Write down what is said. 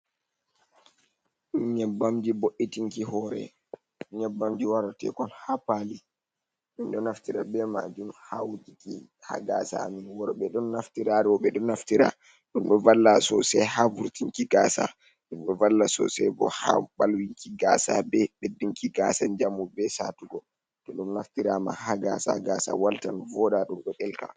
Nyebbamji bo’itinki hore, nyebbamji wara tekon ha pali, min ɗo naftira be majum ha wujiki ha gasa amin worɓe ɗon naftira roɓɓe ɗo naftira, ɗum ɗon valla sosai ha vurtinki gasa, ɗum ɗon valla sosai bo ha ɓalwinki gasa, be ɓeddinki gasa jamu be satugo, to ɗum naftirama ha gasa gasa waltan, voɗa ɗum ɗo ɗelka.